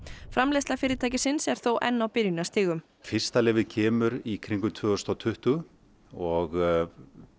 framleiðsla fyrirtækisins er þó enn á byrjunarstigum fyrsta lyfið kemur í kringum tvö þúsund og tuttugu og